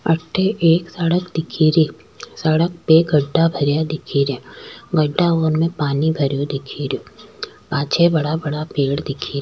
अठे एक सड़क दिखे री सड़क पे गढ़ा भरया दिखे रा गढ़ा उनमे पानी भरयो दिखे रो पाछे बड़ा बड़ा पेड़ दिखे --